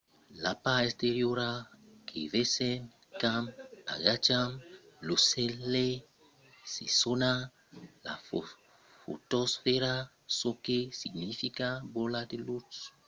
la part exteriora que vesèm quand agacham lo solelh se sona la fotosfèra çò que significa bola de lutz